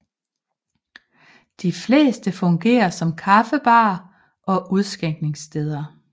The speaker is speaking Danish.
De fleste fungerer som kaffebarer og udskænkningssteder